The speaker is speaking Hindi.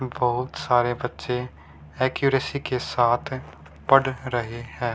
बहुत सारे बच्चे अक्यूरेसी के साथ पढ़ रहे हैं।